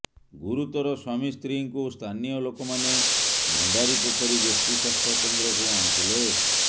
ଗୁରୁତର ସ୍ୱାମୀ ସ୍ତ୍ରୀଙ୍କୁ ସ୍ଥାନୀୟ ଲୋକ ମାନେ ଭଣ୍ଡାରିପୋଖରୀ ଗୋଷ୍ଠୀ ସ୍ୱାସ୍ଥ୍ୟକେନ୍ଦ୍ରକୁ ଆଣିଥିଲେ